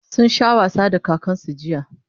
sun Sha wasa da kakansu jiya